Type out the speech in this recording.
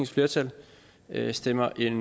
flertal stemmer et